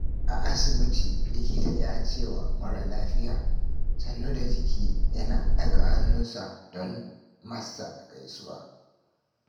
A asibiti, likita ya ce wa mara lafiya, "sannu da jiki" yana ɗaga hannunsa don masa gaisuwa.